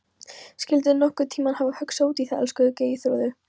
Skyldirðu nokkurn tímann hafa hugsað út í það, elskulega Geirþrúður?